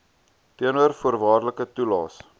teenoor voorwaardelike toelaes